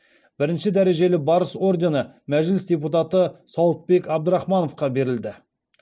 бірінші дәрежелі барыс ордені мәжіліс депутаты сауытбек абдрахмановқа берілді